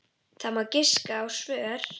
Það má giska á svör.